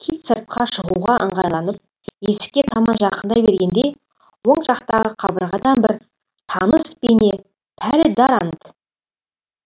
кит сыртқа шығуға ыңғайланып есікке таман жақындай бергенде оң жақтағы қабырғадан бір таныс бейне пәлі даррант